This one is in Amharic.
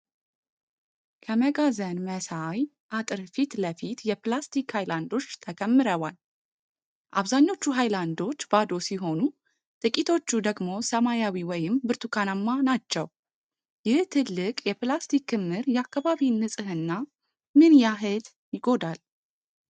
ከመጋዘን መሳይ አጥር ፊት ለፊት የፕላስቲክ ሃይላንዶች ተከምረዋል። አብዛኞቹ ሃይላንዶች ባዶ ሲሆኑ፣ ጥቂቶቹ ደግሞ ሰማያዊ ወይም ብርቱካንማ ናቸው። ይህ ትልቅ የፕላስቲክ ክምር የአካባቢን ንፅህና ምን ያህል ይጎዳል?